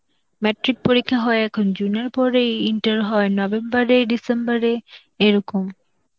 matric পরীক্ষা হয় এখন June এর পরেই, inter হয় November এ December এ এরকম.